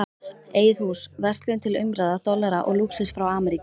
Eigið hús, verslun til umráða, dollara og lúxus frá Ameríku.